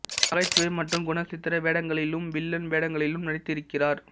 நகைச்சுவை மற்றும் குணசித்திர வேடங்களிலும் வில்லன் வேடங்களிலும் நடித்து இருக்கிறார்